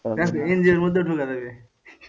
NGO এর মধ্যেও ঢোকা যাবে